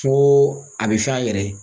Ko a bi fɛn a yɛrɛ ye.